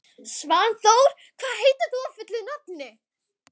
Svanþór, hvað heitir þú fullu nafni?